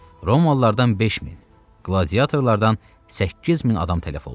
Romalılardan 5000, qladiatorlardan 8000 adam tələf oldu.